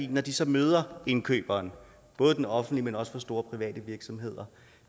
når de så møder indkøberen både den offentlige men også dem fra store private virksomheder